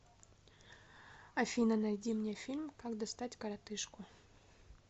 афина найди мне фильм как достать коротыжку